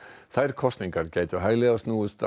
þær kosningar gætu hæglega snúist að